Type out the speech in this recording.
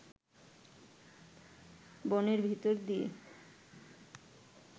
বনের ভিতর দিয়ে